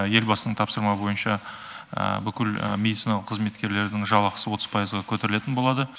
елбасының тапсырма бойынша бүкіл медициналық қызметкерлерінің жалақысы отыз пайызға көтерілетін болады